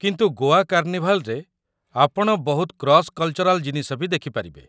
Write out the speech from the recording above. କିନ୍ତୁ ଗୋଆ କାର୍ଣ୍ଣିଭାଲ୍‌‌ରେ ଆପଣ ବହୁତ କ୍ରସ୍ କଲ୍‌ଚରାଲ୍ ଜିନିଷ ବି ଦେଖିପାରିବେ ।